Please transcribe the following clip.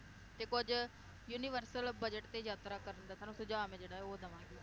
ਤੇ ਕੁਝ universal budget ਤੇ ਯਾਤਰਾ ਕਰਨ ਦਾ ਤੁਹਾਨੂੰ ਸੁਝਾਅ ਮੈ ਜਿਹੜਾ ਉਹ ਦਵਾਂਗੀ